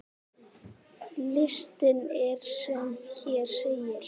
Listinn er sem hér segir